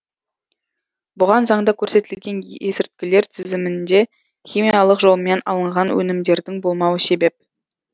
бұған заңда көрсетілген есірткілер тізімінде химиялық жолмен алынған өнімдердің болмауы себеп